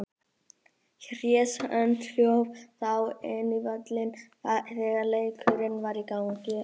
Hress önd hljóp þá inn á völlinn þegar leikurinn var í gangi.